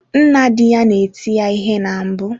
Nna di ya na-eti ya ihe na mbụ.